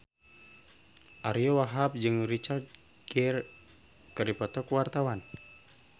Ariyo Wahab jeung Richard Gere keur dipoto ku wartawan